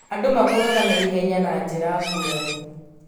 Andũ makũraga na ihenya na njĩra ngũrani.